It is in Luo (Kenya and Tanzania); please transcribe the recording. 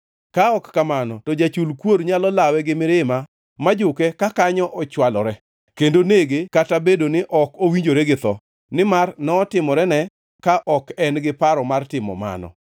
Ka ok kamano to jachul kuor nyalo lawe gi mirima ma juke kakanyo ochwalore, kendo nege kata obedo ni ok owinjore gi tho, nimar notimorene ka ok en-gi paro mar timo mano.